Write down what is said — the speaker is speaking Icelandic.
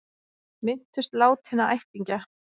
Minntust látinna ættingja